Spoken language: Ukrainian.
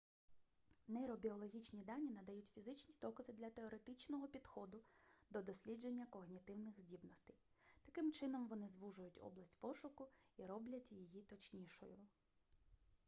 нейробіологічні дані надають фізичні докази для теоретичного підходу до дослідження когнітивних здібностей таким чином вони звужують область пошуку і роблять її точнішою